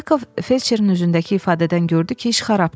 Yakov felçerin üzündəki ifadədən gördü ki, iş xarabdır.